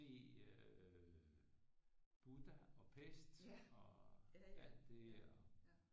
Se øh Buda og Pest og alt det og